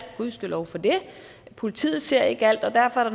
gudskelov for det og politiet ser ikke alt og derfor er